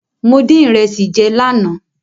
Mo dín ìrẹsì jẹ lánàá.